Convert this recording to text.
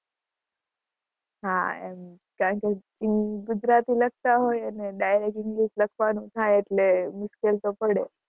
હા એમ કારણકે ગુજરાતી લખતા હોય અને direct english લખવા નું થાય એટલે મુશ્કેલ તો પડે.